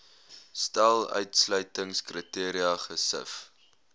stel uitsluitingskriteria gesif